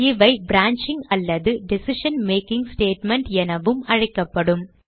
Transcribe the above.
இவை பிரான்ச்சிங் அல்லது decision making statement எனவும் அழைக்கப்படும்